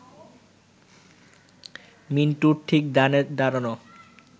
মিন্টুর ঠিক ডানে দাঁড়ানো